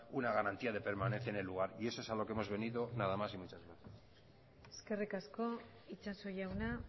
una garantía de permanencia en el lugar y eso es a lo que hemos venido nada más y muchas gracias eskerrik asko itsaso jauna